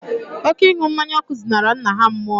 Oké ịnu mmanya ọkụ zinara nna ha mmuo